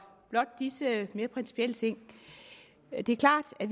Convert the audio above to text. blot disse mere principielle ting det er klart at